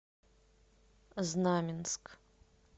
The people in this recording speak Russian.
знаменск